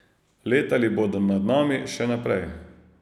Letali bodo nad nami še naprej.